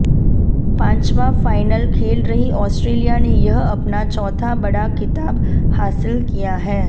पांचवां फाइनल खेल रही ऑस्ट्रेलिया ने यह अपना चौथा बड़ा खिताब हासिल किया है